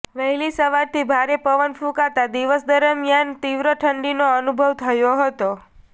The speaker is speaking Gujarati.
વહેલી સવારથી ભારે પવન ફૂંકાતા દિવસ દરમિયાન તીવ્ર ઠંડીનો અનુભવ થયો હતો